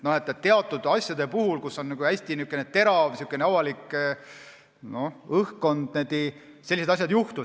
Teatud asjade puhul, kui on hästi terav avalik tähelepanu, niimoodi juhtub.